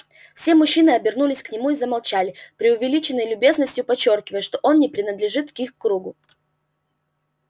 все мужчины обернулись к нему и замолчали преувеличенной любезностью подчёркивая что он не принадлежит к их кругу